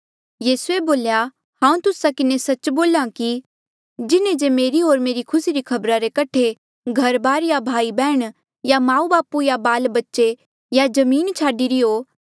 यीसूए बोल्या हांऊँ तुस्सा किन्हें सच्च बोल्हा कि जिन्हें जे मेरे होर मेरे खुसी री खबरा रे कठे घरबार या भाईबैहण या माऊबापू या बाल बच्चे या जमीन छाडिरी हो